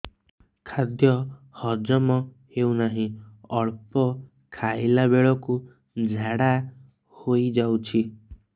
ଖାଦ୍ୟ ହଜମ ହେଉ ନାହିଁ ଅଳ୍ପ ଖାଇଲା ବେଳକୁ ଝାଡ଼ା ହୋଇଯାଉଛି